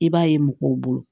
I b'a ye mɔgɔw bolo